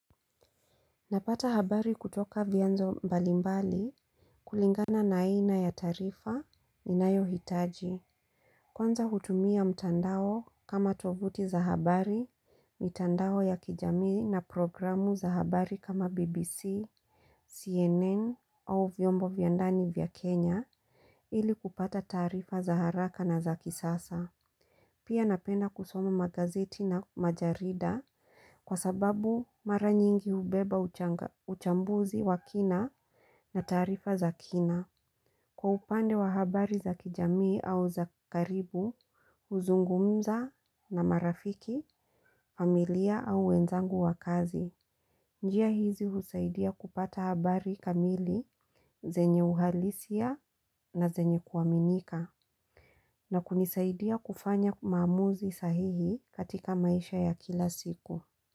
Napata habari kutoka vianzo mbalimbali kulingana na ina ya tarifa ni nayo hitaji. Kwanza hutumia mtandao kama tovuti za habari, mtandao ya kijami na programu za habari kama BBC, CNN au vyombo vyandani vya Kenya ili kupata taarifa za haraka na za kisasa. Pia napenda kusoma magazeti na majarida kwa sababu mara nyingi ubeba uchambuzi wa kina na tarifa za kina. Kwa upande wa habari za kijamii au za karibu, uzungumza na marafiki, familia au wenzangu wa kazi. Njia hizi husaidia kupata habari kamili, zenye uhalisia na zenye kuwaminika. Na kunisaidia kufanya mamuzi sahihi katika maisha ya kila siku.